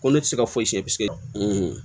Ko ne tɛ se ka foyi si kɛ